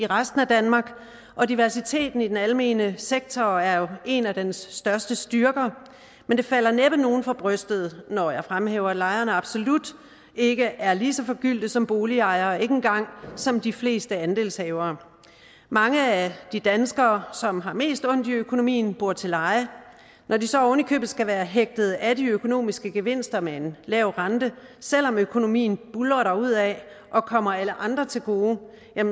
resten af danmark og diversiteten i den almene sektor er jo en af dens største styrker men det falder næppe nogen for brystet når jeg fremhæver at lejere absolut ikke er lige så forgyldte som boligejere ikke engang som de fleste andelshavere mange af de danskere som har mest ondt i økonomien bor til leje når de så oven i købet skal være hægtet af de økonomiske gevinster med en lav rente selv om økonomien buldrer derudad og kommer alle andre til gode